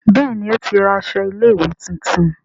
Béèni o tí ra aṣọ ilé ìwé títún.